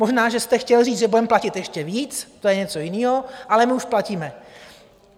Možná že jste chtěl říct, že budeme platit ještě více, to je něco jiného, ale my už platíme.